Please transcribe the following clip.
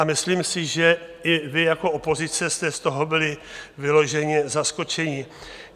A myslím si, že i vy jako opozice jste z toho byli vyloženě zaskočeni.